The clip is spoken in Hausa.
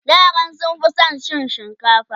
yaran sun Fi San cin shinkafa